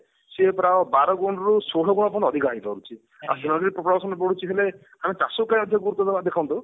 ସେ ପୁରା ବାର ଗୁଣରୁ ଷୋହଳ ଗୁଣ ଅଧିକା ହେଇ ପାରୁଛି population ବଢୁଛି ହେଲେ ଆମେ ଚାଷ ପାଇଁ ଗୁରୁତ୍ଵ ଦେବା ଦେଖନ୍ତୁ